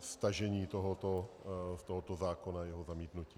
stažení tohoto zákona a jeho zamítnutí.